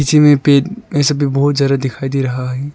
पे ये सब भी बहुत सारा दिखाई दे रहा है।